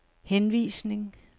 henvisning